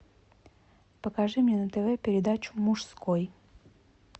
покажи мне на тв передачу мужской